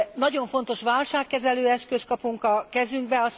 Nagyon fontos válságkezelő eszközt kapunk a kezünkbe.